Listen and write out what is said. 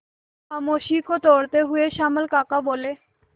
खामोशी को तोड़ते हुए श्यामल काका बोले